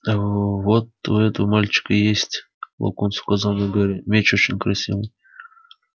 а вот у этого мальчика есть локонс указал на гарри меч очень красивый